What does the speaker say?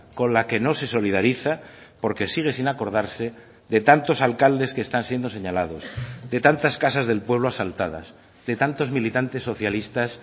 con la que no se solidariza porque sigue sin acordarse de tantos alcaldes que están siendo señalados de tantas casas del pueblo asaltadas de tantos militantes socialistas